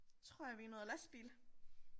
Tror jeg vi er noget lastbil